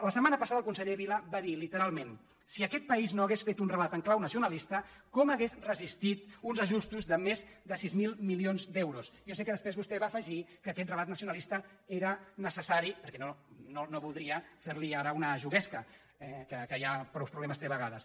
la setmana passada el conseller vila va dir lite·ralment si aquest país no hagués fet un relat en clau nacionalista com hauria resistit uns ajustos de més de sis mil milions d’euros jo sé que després vostè va afegir que aquest relat nacionalista era necessari per·què no voldria fer·li ara una juguesca que ja prou pro·blemes té a vegades